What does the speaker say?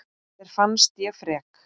Þér fannst ég frek.